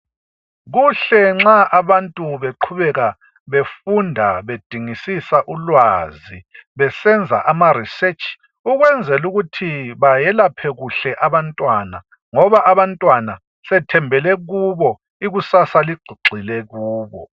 Ukuhle abantu nxa beqhubeka befunda bedingisisa ulwazi ukwenzela ukuthi nxa beselapha beyelaphe kuhle abantwana ngoba abantwana sethembele kubo isasa libheke kubo